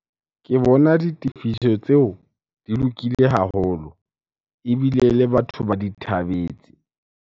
Ke bona ditefiso tseo di lokile haholo ebile le batho ba di thabetse.